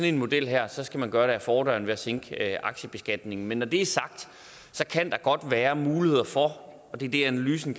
en model her så skal man gøre det ad fordøren ved at sænke aktiebeskatningen men når det er sagt kan der godt være muligheder for og det er det analysen